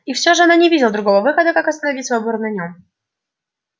и все же она не видела другого выхода как остановить свой выбор на нем